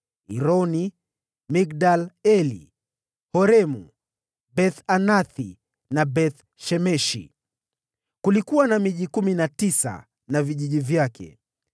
Ironi, Migdal-Eli, Horemu, Beth-Anathi na Beth-Shemeshi. Kulikuwa na miji kumi na tisa na vijiji vyake.